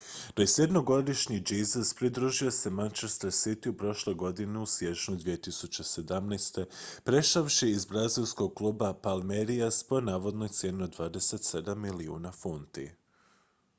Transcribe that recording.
21-godišnji jesus pridružio se manchester cityju prošle godine u siječnju 2017 prešavši iz brazilskog kluba palmeiras po navodnoj cijeni od 27 milijuna funti